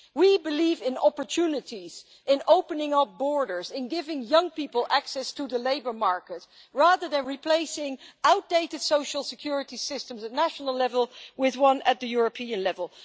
We believe in opportunities, in opening our borders and giving young people access to the labour market, rather than replacing outdated social security systems at national level with one at the European level.